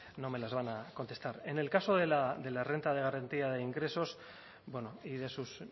no me las van a contestar en el caso de la renta de garantía de ingresos bueno y de sus